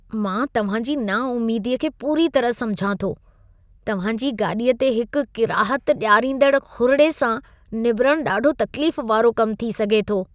मां तव्हां जी नाउमेदीअ खे पूरी तरह समुझां थो। तव्हां जी गाॾीअ ते हिकु किराहत ॾियारींदड़ खुरिड़े सां निबिरणु ॾाढो तकलीफ़ वारो कमु थी सघे थो।